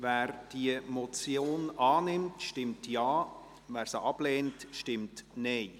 Wer diese Motion annimmt, stimmt Ja, wer diese ablehnt, stimmt Nein.